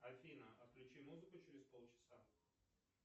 афина отключи музыку через полчаса